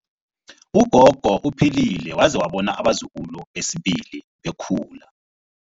Ugogo uphilile waze wabona abazukulu besibili bekhula.